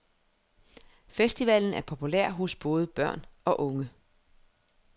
Festivalen er populær hos børn og unge.